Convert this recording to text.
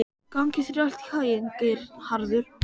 Gangi þér allt í haginn, Geirharður.